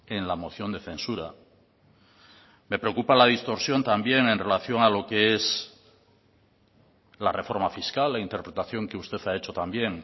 en la moción de censura me preocupa la distorsión también en relación a lo que es la reforma fiscal la interpretación que usted ha hecho también